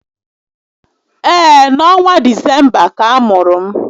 Ee, n'ọnwa Disemba ka a mụrụ m